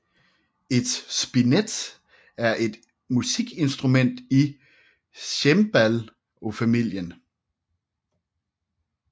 Et spinet er et musikinstrument i cembalofamilien